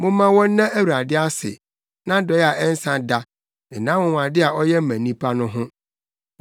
Momma wɔnna Awurade ase, nʼadɔe a ɛnsa da ne nʼanwonwade a ɔyɛ ma nnipa no ho.